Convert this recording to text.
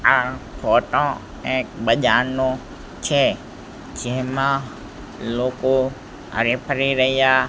આ ફોટો એક બજારનો છે જેમાં લોકો હરી ફરી રહ્યા--